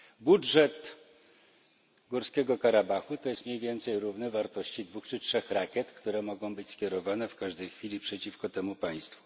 Budżet Górskiego Karabachu jest mniej więcej równy wartości dwóch czy trzech rakiet, które mogą być skierowane w każdej chwili przeciwko temu państwu.